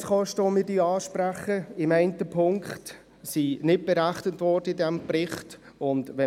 Die Transformationskosten, die wir ansprechen, wurden für den Bericht nicht berechnet.